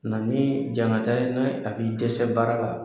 Na ni ne hakili tɛ se baara la.